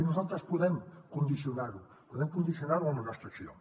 i nosaltres podem condicionar ho podem condicio nar ho amb la nostra acció